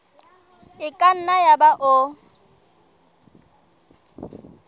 e ka nna yaba o